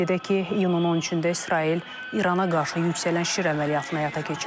Qeyd edək ki, iyunun 13-də İsrail İrana qarşı yüksələn Şir əməliyyatını həyata keçirib.